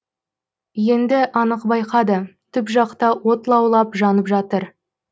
енді анық байқады түп жақта от лаулап жанып жатыр